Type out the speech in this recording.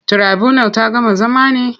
Tirabunal ta gama zama ne?